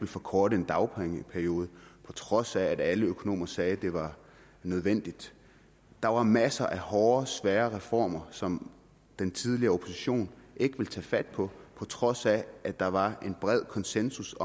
forkorte en dagpengeperiode på trods af at alle økonomer sagde det var nødvendigt der var masser af hårde svære reformer som den tidligere opposition ikke ville tage fat på på trods af at der var bred konsensus